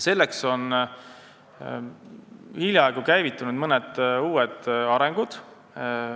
Selleks on hiljaaegu käivitunud mõned uued projektid.